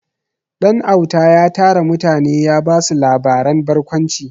Ɗanauta ya tara mutane ya ba su labaren barkwanci.